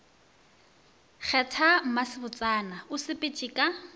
kgetha mmasebotsana o sepetšego ka